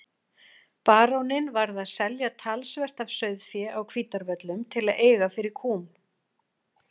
Baróninn varð að selja talsvert af sauðfé á Hvítárvöllum til að eiga fyrir kúm.